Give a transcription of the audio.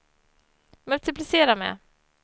multiplicera med